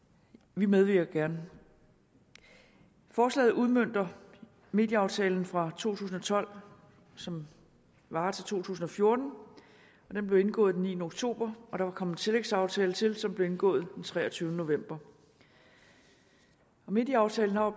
vi medvirker gerne forslaget udmønter medieaftalen fra to tusind og tolv som varer til to tusind og fjorten den blev indgået den niende oktober og der er kommet en tillægsaftale til som blev indgået den treogtyvende november medieaftalen har